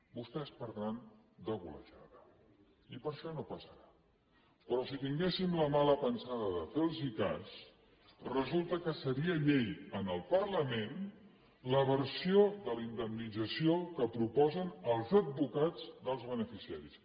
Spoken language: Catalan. vostès perdran de golejada i per això no passarà però si tinguéssim la mala pensada de fer los cas resulta que seria llei en el parlament la versió de la indemnització que proposen els advocats dels beneficiaris